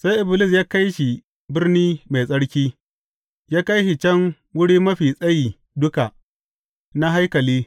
Sai Iblis ya kai shi birni mai tsarki, ya kai shi can wuri mafi tsayi duka na haikali.